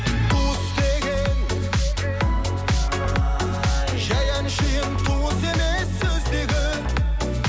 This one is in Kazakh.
туыс деген жай әншейін туыс емес сөздегі